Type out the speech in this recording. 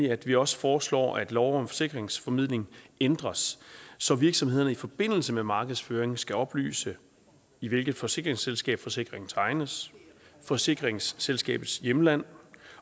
at vi også foreslår at lov om forsikringsformidling ændres så virksomhederne i forbindelse med markedsføring skal oplyse i hvilket forsikringsselskab forsikringen tegnes forsikringsselskabets hjemland